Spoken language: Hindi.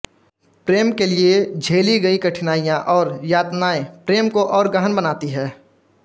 प्रेम के लिए झेली गई कठिनाइयां और यातनाएं प्रेम को और गहन बनाती हैं